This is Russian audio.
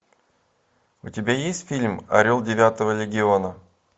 у тебя есть фильм орел девятого легиона